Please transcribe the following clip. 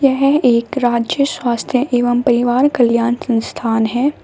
यह एक राज्य स्वास्थ्य एवं परिवार कल्याण संस्थान है।